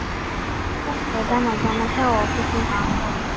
બધા મજામાં છે ઓફિસનું કામ કરે